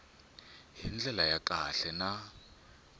hi ndlela ya kahle na